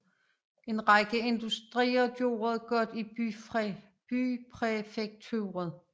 En række industrier gør det godt i bypræfekturet